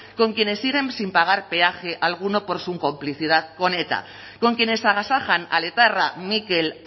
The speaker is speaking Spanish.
con quienes siguen sin pagar peaje alguno por su complicidad con eta con quienes agasajan al etarra mikel